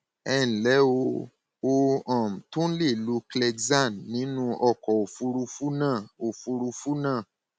ẹ ǹlẹ o o um tún lè lo clexane nínú ọkọ òfuurufú náà òfuurufú náà